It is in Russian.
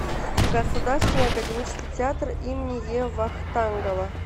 государственный академический театр им е вахтангова